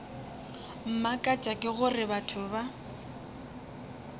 mmakatša ke gore batho ba